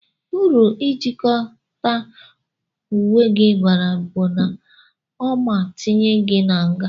Uru ijikọta unwegi bara bu na oma tinye gi n'nga.